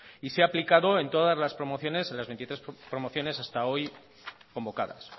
y se ha aplicado en todas las promociones en las veintitrés promociones hasta hoy convocadas